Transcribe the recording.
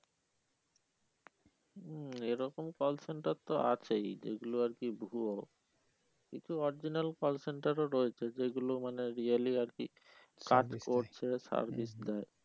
মমম এরকম call center তো আর কি আছেই যেইগুলো আর কি ভুয়ো কিন্তু original call center ও রয়েছে যেগুলো মানে really আর কি service দেয়